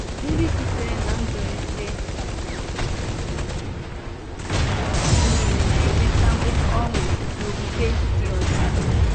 Ndị sitere ná nzụ̀lite nile enwetàwo ọṅụ n’okpùkpe dị ọcha.